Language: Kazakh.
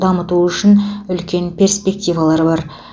дамыту үшін үлкен перспективалары бар